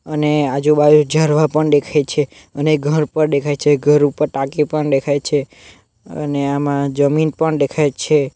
અને આજુ બાજુ ઝાડવા પણ દેખાઈ છે અને ઘર પણ દેખાઈ છે ઘર ઉપર ટાંકી પણ દેખાઈ છે અને આમાં જમીન પણ દેખાઈ છે.